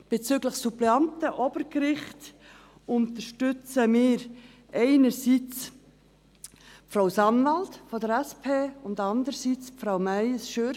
Bezüglich der Suppleanten für das Obergericht unterstützen wir einerseits Frau Sanwald von der SP und andererseits Frau Meyes Schürch.